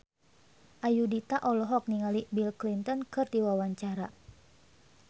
Ayudhita olohok ningali Bill Clinton keur diwawancara